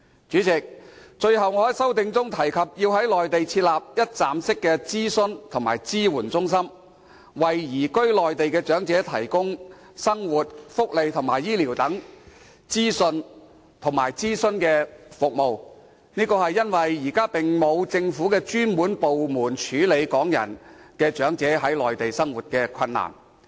主席，最後，我在修正案中提及要在內地設立一站式諮詢及支援中心，為移居內地的長者提供生活、福利、醫療等資訊及諮詢服務，因為現時並沒有政府專責部門處理香港長者在內地生活困難的問題。